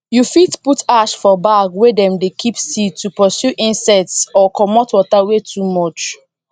you fit put ash for bag wey dem dey keep seed to pursue insects or commot water wey too much